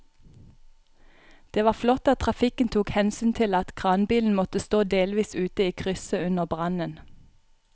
Det var flott at trafikken tok hensyn til at kranbilen måtte stå delvis ute i krysset under brannen.